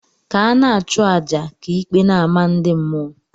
Ka ana achu aja ka íkpè n' ama ndị mmụọ.